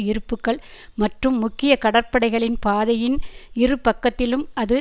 இருப்புக்கள் மற்றும் முக்கிய கடற்படைகளின் பாதையின் இருபக்கத்திலும் அது